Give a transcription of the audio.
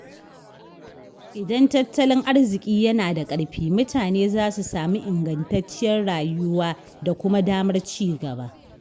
Idan tattalin arziƙi yana da ƙarfi, mutane za su sami ingantacciyar rayuwa da kuma damar ci gaba.